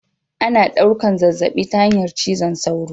Ana ɗaukan zazzabi ta hanyar cizon sauro